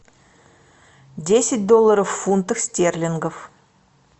десять долларов в фунтах стерлингов